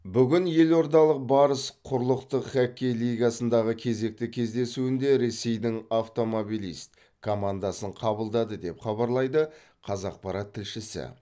бүгін елордалық барыс құрлықтық хоккей лигасындағы кезекті кездесуінде ресейдің автомобилист командасын қабылдады деп хабарлайды қазақпарат тілшісі